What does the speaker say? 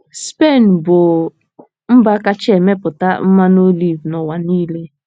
Spen bụ́ mba kacha emepụta mmanụ oliv n’ụwa niile.